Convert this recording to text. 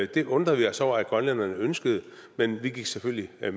det undrede vi os over at grønlænderne ønskede men vi gik selvfølgelig med